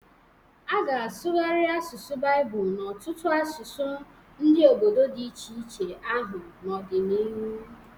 A ga-asụgharị asụsụ Baịbụl n’ọtụtụ asụsụ ndị obodo di iche iche ahụ n’ọdịnihu